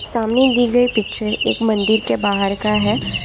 सामने दी गई पिक्चर एक मंदिर के बाहर का है।